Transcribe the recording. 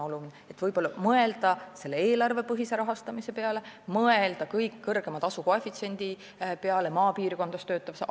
Võib-olla võiks mõelda eelarvepõhise rahastamise peale ja selle peale, et maapiirkonnas töötaval arstil oleks kõige kõrgem tasukoefitsient.